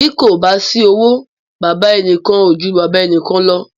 Bí kò bá sí owó, baba ẹnìkan ò ju baba ẹnìkan lọ.